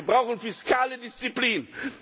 Wir brauchen fiskale Disziplin.